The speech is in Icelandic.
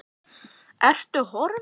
Ertu horfin?